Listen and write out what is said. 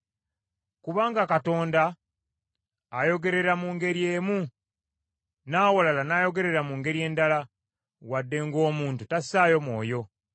Kubanga Katonda ayogerera mu ngeri emu, n’awalala n’ayogerera mu ngeri endala, wadde ng’omuntu tassaayo mwoyo.